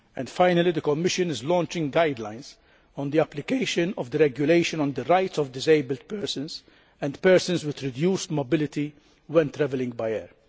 Finally, the Commission is launching guidelines on the application of the regulation on the rights of disabled persons and persons with reduced mobility when travelling by air.